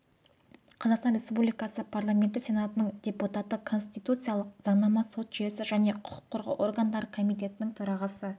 қазақстан республикасы парламенті сенатының депутаты конституциялық заңнама сот жүйесі және құқық қорғау органдары комитетінің төрағасы